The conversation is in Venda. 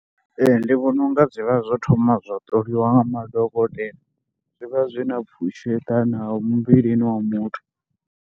Ee ndi vhona u nga zwi vha zwo thoma zwa ṱoliwa nga madokotela, zwi vha zwi na pfhushi yo eḓanaho muvhilini wa muthu.